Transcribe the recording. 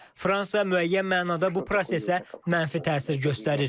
Fransa müəyyən mənada bu prosesə mənfi təsir göstərir.